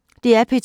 DR P2